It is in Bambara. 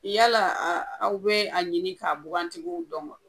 Yala a aw be a ɲini k'a bugantigiw dɔn wa